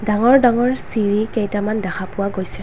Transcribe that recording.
ডাঙৰ-ডাঙৰ চিৰি কেইটামান দেখা পোৱা গৈছে।